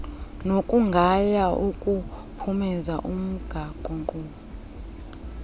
nokugaya ukuphumeza umgaqonkqubo